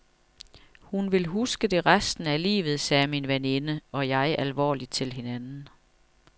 Hun vil huske det resten af livet, sagde min veninde og jeg alvorligt til hinanden.